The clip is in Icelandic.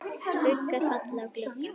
Skuggar falla á glugga.